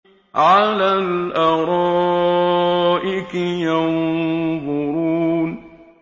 عَلَى الْأَرَائِكِ يَنظُرُونَ